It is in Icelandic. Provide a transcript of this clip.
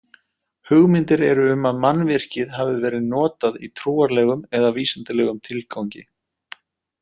Hugmyndir eru um að mannvirkið hafi verið notað í trúarlegum eða vísindalegum tilgangi.